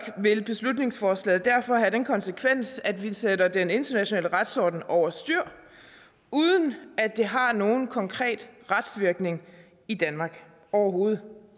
vil beslutningsforslaget derfor have den konsekvens at vi sætter den internationale retsorden over styr uden at det har nogen konkret retsvirkning i danmark overhovedet